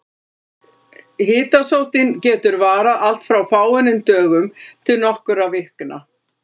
Hitasóttin getur varað allt frá fáeinum dögum til nokkurra vikna.